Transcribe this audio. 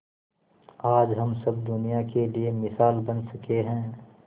आज हम सब दुनिया के लिए मिसाल बन सके है